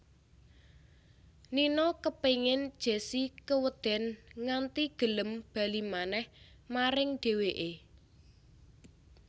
Nino kepéngin Jessi kewedèn nganti gelem bali manèh maring dhèwèké